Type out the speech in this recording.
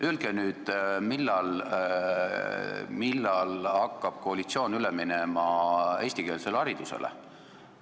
Öelge nüüd, millal hakkab koalitsioon üle minema eestikeelsele haridusele.